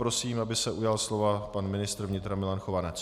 Prosím, aby se ujal slova pan ministr vnitra Milan Chovanec.